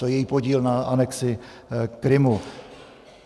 To je její podíl na anexi Krymu.